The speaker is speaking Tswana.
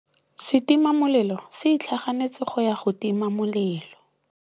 Setima molelô se itlhaganêtse go ya go tima molelô.